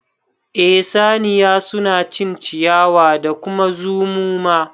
Eh saniya suna cin ciyawa da kuma zumu ma